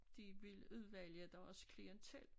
De vil udvælge deres klientel